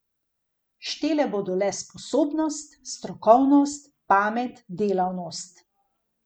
Štele bodo le sposobnost, strokovnost, pamet, delavnost.